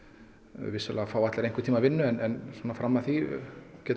vissulega fá allir einhvern tímann vinnu en svona fram að því getur